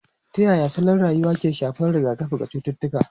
Ta yaya salon rayuwa ke shafar rigakafi ga cututtuka?